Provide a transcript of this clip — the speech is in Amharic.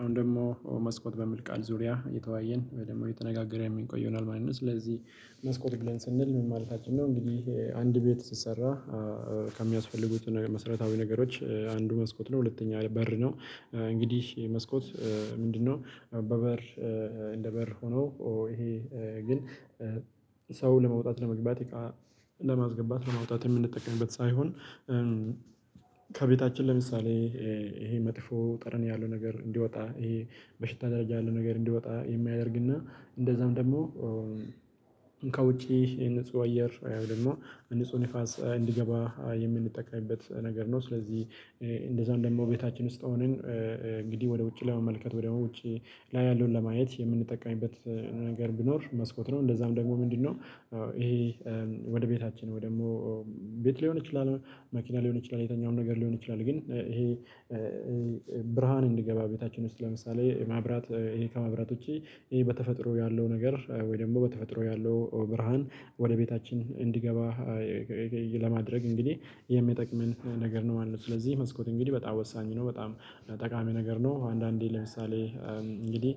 አሁን ደግሞ መስኮት በሚል ቃል ዙሪያ እየተዋየን ወይ ደግሞ እየተነጋገርን የምንቆይ ይሆናል ማለት ነው። ስለዚህ መስኮት ብለን ስንል ምን ማለትችን ነው? እንግዲህ አንድ ቤት ሲሰራ ከሚያስፈልጉት መሰረታዊ ነገሮች አንዱ መስኮት ነው። ሁለተኛ በር ነው። እንግዲህ መስኮት ምንድነው? በበር እንደ በር ሆኖ ይሄ ግን ሰው ለመውጣት ለመግባት ለማስገባት ለማውጣት የምንጠቀምበት ሳይሆን። ከቤታችን ለምሳሌ ይሄ መጥፎ ጠረን ያለው ነገር እንዲወጣ ይሄ በሽታ ደረጃ ያለው ነገር እንዲወጣ የሚያደርግና እንደዛም ደግሞ ውጪ የንጹህ አየር ወይም ደግሞ ንጹህ ንፋስ እንዲገባ የምንጠቀምበት ነገር ነው። ስለዚህ እንደዛም ደግሞ ቤታችን ውስጥ ሆነን እንግዲህ ወደ ውጪ ላይ መመልከት ወደ ውጪ ላይ ያለውን ለማየት የምንጠቀምበት ነገር ቢኖር መስኮት ነው። እንደዛም ደግሞ ምንድነው? ይሄ ወደ ቤታችን ወይም ደግሞ ቤት ሊሆን ይችላል መኪና ሊሆን ይችላል የትኛውም ነገር ሊሆን ይችላል። ግን ይሄ ብርሃን እንዲገባ ቤታችን ውስጥ ለምሳሌ ማብራት ይሄ ከማብራት ውጪ ይሄ በተፈጥሮ ያለው ነገር ወይ ደግሞ በተፈጥሮ ያለው ብርሃን ወደ ቤታችን እንዲገባ ለማድረግ እንግዲህ የሚጠቅመን ነገር ነው ማለት ነው። ስለዚህ መስኮት እንግዲህ በጣም ወሳኝ ነው በጣም ጠቃሚ ነገር ነው። አንዳንዴ ለምሳሌ እንግዲህ